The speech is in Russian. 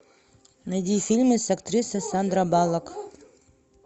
найди фильмы с актрисой сандра баллок